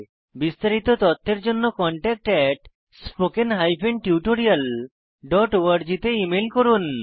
বিস্তারিত তথ্যের জন্য contactspoken tutorialorg তে ইমেল করুন